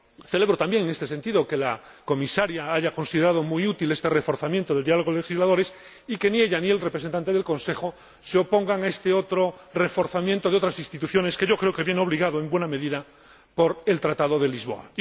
Celebro también, en este sentido, que la Comisaria haya considerado muy útil este reforzamiento del diálogo de legisladores y que ni ella ni el representante del Consejo se opongan a este otro reforzamiento de otras instituciones, que creo que viene obligado, en buena medida, por el Tratado de Lisboa.